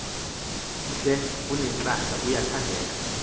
mhle unentlahla uyathandeka